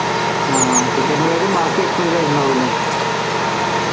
ആഹ് ticket നെ കാട്ടി ബാക്കി expense ആയിട്ടുണ്ടാവുല്ലേ